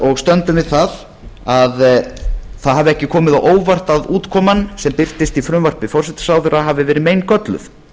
og stöndum við það að ekki hafi komið á óvart að útkoman sem birtist í frumvarpi forsætisráðherra hafi verið meingölluð